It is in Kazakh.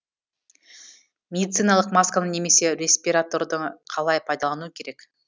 медициналық масканы немесе респираторды қалай пайдалану керек